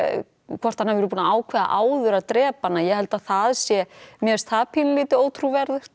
hvort hann hafi búinn að ákveða áður að drepa hana ég held að það sé mér finnst það dálítið ótrúverðugt